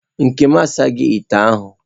Nkem asaghị ite ahụ.